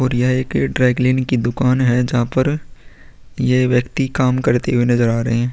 और यह एक ड्राई क्लीन की दुकान है जहाँ पर ये व्यक्ति काम करते हुए नज़र आ रहे हैं।